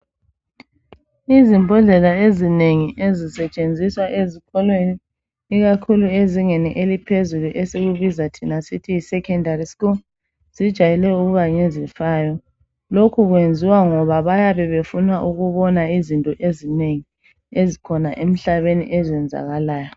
Izimbodlela ezinengi ezisetshenziswa ezikolweni ikakhulu ezingeni eliphezulu esikubiza sithi yi secondary school. Zijayele ukuba ngezifayo lokhu kwenziwa ngoba bayabe befuna ukubona zinto ezinengi ezikhona emhlabeni ezenzakalayo.